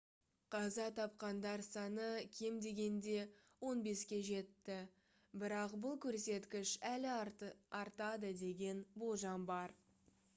қаза тапқандар саны кем дегенде 15-ке жетті бірақ бұл көрсеткіш әлі артады деген болжам бар